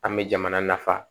An bɛ jamana nafa